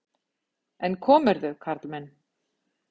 En komirðu, karl minn!